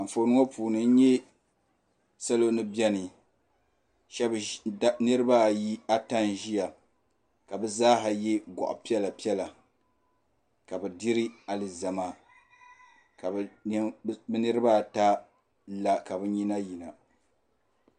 Anfooni ŋɔ puuni n nya salo ni biɛni niriba ata n ʒia ka bɛ zaaha ye goɣa piɛla piɛla ka bɛ diri alizama ka bɛ niriba ata la ka bɛ nyina yina.